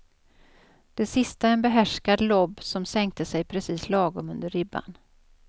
Det sista en behärskad lobb som sänkte sig precis lagom under ribban.